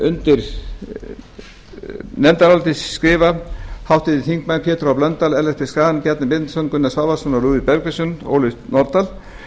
undir nefndarálitið skrifa háttvirtir þingmenn pétur h blöndal ellert b schram bjarni benediktsson gunnar svavarsson lúðvík bergvinsson og ólöf nordal